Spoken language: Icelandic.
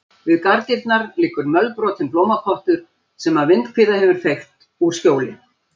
Við garðdyrnar liggur mölbrotinn blómapottur sem vindhviða hefur feykt úr skjóli.